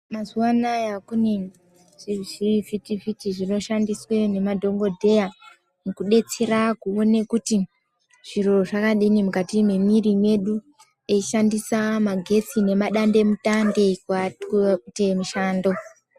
Mazuva anaya kune zvivhiti vhiti zvinoshandiswe nemadhokodheya mukubetsera kuone kuti zviro zvakadini mukati mwomuwiri medu eyishandisa magetsi nemadande mutande pavanenge veyite mushando.